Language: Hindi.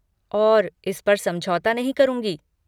और इस पर समझौता नहीं करूँगी।